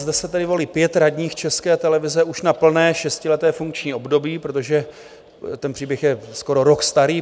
Zde se tedy volí pět radních České televize už na plné šestileté funkční období, protože ten příběh je skoro rok starý.